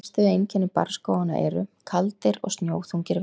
Helstu einkenni barrskóganna eru: Kaldir og snjóþungir vetur.